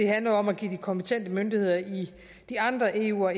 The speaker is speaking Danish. handler om at give de kompetente myndigheder i de andre eu og